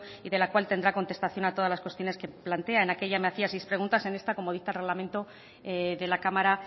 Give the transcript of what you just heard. y de la cual tendrá contestación a todas las cuestiones que plantea en aquella me hacía seis preguntas en esta como dicta el reglamento de la cámara